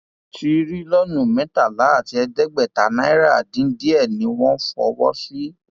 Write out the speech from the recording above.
tìrìlónú mẹtàlá àti ẹgbẹta náírà dín díẹ ni wọn fọwọ sí